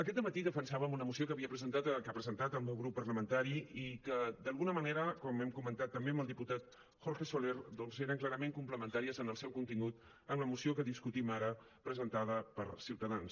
aquest dematí defensàvem una moció que havia presentat que ha presentat el meu grup parlamentari i que d’alguna manera com hem comentat també amb el diputat jorge soler doncs eren clarament complementàries en el seu contingut amb la moció que discutim ara presentada per ciutadans